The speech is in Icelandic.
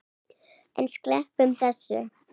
En sleppum þessu!